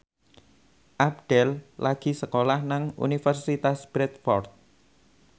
Abdel lagi sekolah nang Universitas Bradford